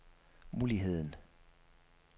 muligheden